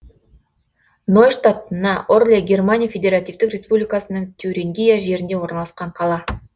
нойштадт на орле германия федеративтік республикасының тюрингия жерінде орналасқан қала